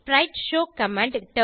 sprite show command